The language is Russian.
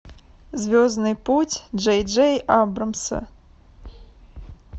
звездный путь джей джей абрамса